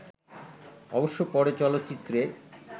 অবশ্য পরে চলচ্চিত্রে